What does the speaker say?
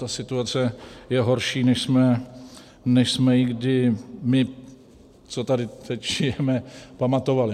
Ta situace je horší, než jsme ji kdy my, co tady teď žijeme, pamatovali.